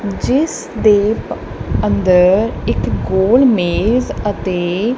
ਜਿਸ ਦੇ ਅੰਦਰ ਇੱਕ ਗੋਲ ਮੇਜ ਅਤੇ--